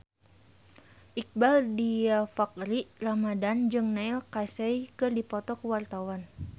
Iqbaal Dhiafakhri Ramadhan jeung Neil Casey keur dipoto ku wartawan